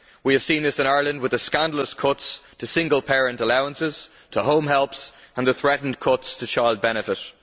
We have seen this in Ireland with the scandalous cuts to single parent allowances, to home helps and the threatened cuts to child benefit.